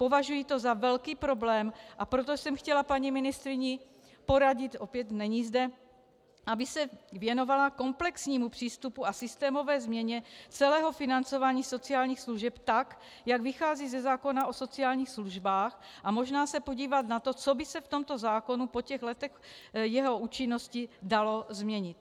Považuji to za velký problém, a proto jsem chtěla paní ministryni poradit - opět není zde -, aby se věnovala komplexnímu přístupu a systémové změně celého financování sociálních služeb, tak jak vychází ze zákona o sociálních službách, a možná se podívat na to, co by se v tomto zákonu po těch letech jeho účinnosti dalo změnit.